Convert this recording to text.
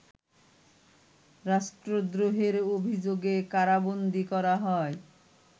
রাষ্ট্রদ্রোহের অভিযোগে কারাবন্দী করা হয়